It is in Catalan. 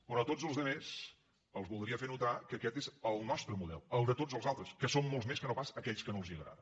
però a tots els altres els voldria fer notar que aquest és el nostre model el de tots els altres que som molts més que no pas aquells que no els agrada